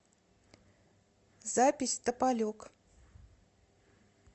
запись тополек